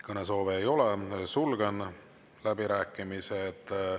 Kõnesoove ei ole, sulgen läbirääkimised.